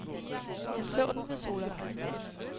Han så den ved solopgang.